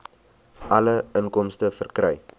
alle inkomste verkry